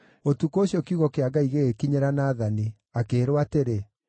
Ũtukũ ũcio kiugo kĩa Ngai gĩgĩkinyĩra Nathani, akĩĩrwo atĩrĩ: